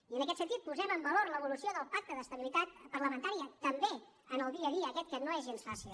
i en aquest sentit posem en valor l’evolució del pacte d’estabilitat parlamentària també en el dia a dia aquest que no és gens fàcil